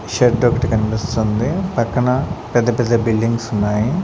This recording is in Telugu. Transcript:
చెట్టొకటి కన్పిస్తుంది పక్కన పెద్ద పెద్ద బిల్డింగ్స్ ఉన్నాయి.